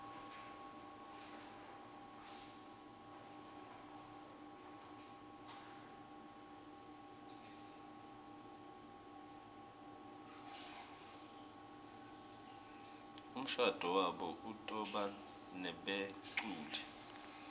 umshado wabo utobanebeculi